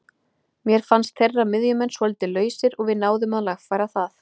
Mér fannst þeirra miðjumenn svolítið lausir og við náðum að lagfæra það.